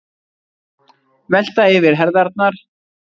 Velta yfir herðarnar.